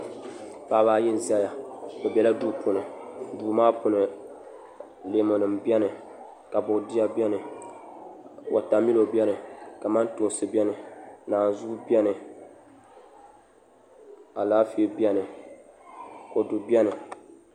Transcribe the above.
Paɣaba ayi n ʒɛya bi biɛla duu puuni duu maa puuni leemu nim biɛni ka boodiyɛ biɛni wotamilo biɛni kamantoosi biɛni naanzuu biɛni Alaafee biɛni kodu biɛni